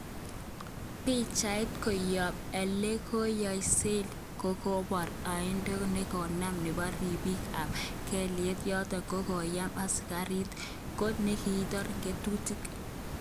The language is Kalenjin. Pichait koyob elekoyooksek kokobor oendo nekorom nebo ripik kap kalyet, yoton kokayem Asikarik kot nekingoten ngotutik.